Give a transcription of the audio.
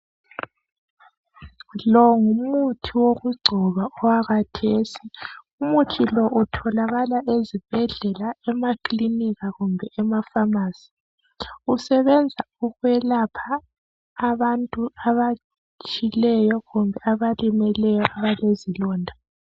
Lo ngumuthi wokugcoba okwakhathesi umuthi lo utholakala ezibhendlela emakilinika kumbe emaphamarcy usebenza ukwelapha abantu abatshileyo kumbe abalimeleyo abalezilonda